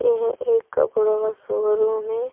यह एक कपड़ों का शोरूम है।